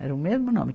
Era o mesmo nome.